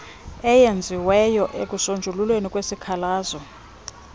eyenziweyo ekusonjululweni kwesikhalazo